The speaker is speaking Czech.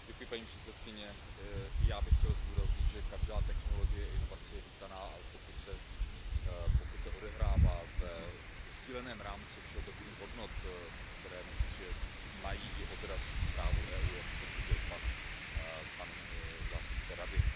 Paní předsedající, i já bych chtěl zdůraznit, že každá technologie, inovace je vítaná, ale pokud se odehrává ve sdíleném rámci všeobecných hodnot, které, myslím si, že mají i odraz v právu EU, jak potvrdil pan zástupce Rady.